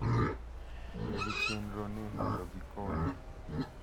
Tiyo gi chenro ni mondo gikone,